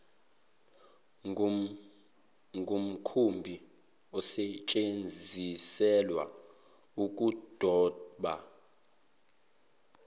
ngumkhumbi osetsheziselwa ukudoba